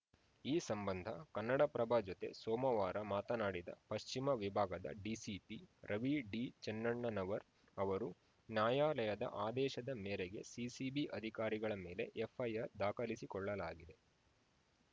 ಈ ಸಂಬಂಧ ಕನ್ನಡಪ್ರಭ ಜತೆ ಸೋಮವಾರ ಮಾತನಾಡಿದ ಪಶ್ಚಿಮ ವಿಭಾಗದ ಡಿಸಿಪಿ ರವಿಡಿಚೆನ್ನಣ್ಣನವರ್‌ ಅವರು ನ್ಯಾಯಾಲಯದ ಆದೇಶದ ಮೇರೆಗೆ ಸಿಸಿಬಿ ಅಧಿಕಾರಿಗಳ ಮೇಲೆ ಎಫ್‌ಐಆರ್‌ ದಾಖಲಿಸಿಕೊಳ್ಳಲಾಗಿದೆ